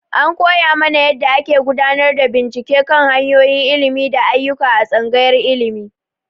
An koya mana yadda ake gudanar da bincike kan hanyoyin ilimi da ayyuka a Tsangayar Ilimi.